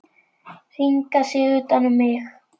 Hringa sig utan um mig.